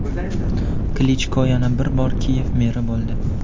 Klichko yana bir bor Kiyev meri bo‘ldi.